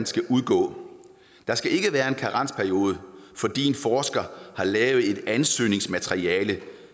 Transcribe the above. skal udgå der skal ikke være en karensperiode fordi en forsker har lavet et ansøgningsmateriale